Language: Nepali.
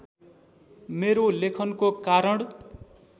मेरो लेखनको कारण